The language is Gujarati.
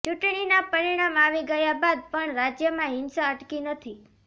ચૂંટણીના પરિણામ આવી ગયા બાદ પણ રાજ્યમાં હિંસા અટકી નથી